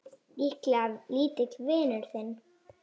Líklega lítill vinur þinn!